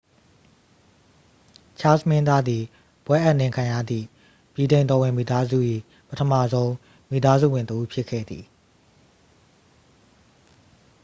ချားစ်လ် မင်းသားသည် ဘွဲ့အပ်နှင်းခံရသည့် ဗြိတိန်တော်ဝင်မိသားစု၏ ပထမဆုံး မိသားစုဝင်တစ်ဦး ဖြစ်ခဲ့သည်